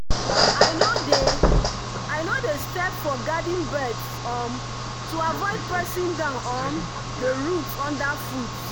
i no dey i no dey step for garden beds um to avoid pressing down um the roots underfoot.